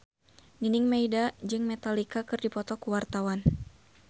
Nining Meida jeung Metallica keur dipoto ku wartawan